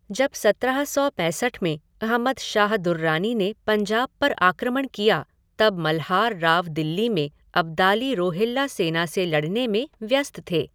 जब सत्रह सौ पैंसठ में अहमद शाह दुर्रानी ने पंजाब पर आक्रमण किया, तब मल्हार राव दिल्ली में अब्दाली रोहिल्ला सेना से लड़ने में व्यस्त थे।